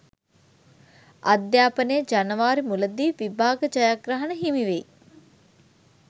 අධ්‍යාපනය ජනවාරි මුලදී විභාග ජයග්‍රහණ හිමිවෙයි